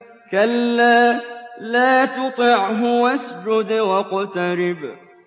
كَلَّا لَا تُطِعْهُ وَاسْجُدْ وَاقْتَرِب ۩